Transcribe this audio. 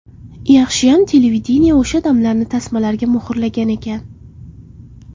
Yaxshiyam televideniye o‘sha damlarni tasmalarga muhrlagan ekan.